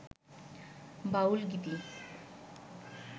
বাউল গীতি